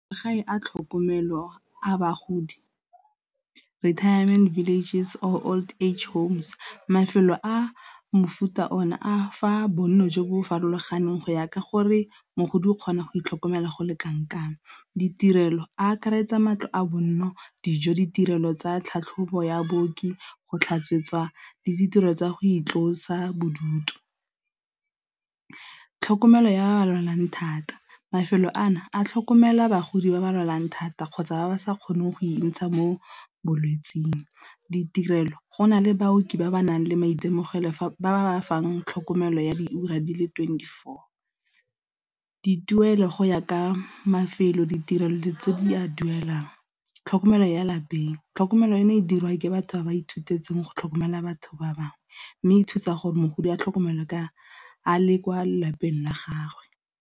Magae a tlhokomelo a bagodi retirement villages or old age homes, mafelo a mofuta o ne a fa bonno jo bo farologaneng go ya ka gore mogodi o kgona go itlhokomela go le kanakang. Ditirelo a akaretsa matlo a bonno, dijo, ditirelo tsa tlhatlhobo ya booki, go tlhatswetswa le ditiro tsa go itlosa bodutu. Tlhokomelo ya ba ba lwalang thata mafelo a no a tlhokomelwa bagodi ba ba lwalang thata kgotsa ba ba sa kgoneng go ikgantsha mo bolwetseng, ditirelo gona le baoki ba ba nang le maitemogelo ba ba fang tlhokomelo ya di ura di le twenty four, dituelo go ya ka mafelo ditirelo tse di a duelang, tlhokomelo ya lapeng tlhokomelo eno e dirwang ke batho ba ba ithute itseng go tlhokomela batho ba bangwe mme e thusa gore mogodi a tlhokomelwa a le kwa lapeng la gagwe.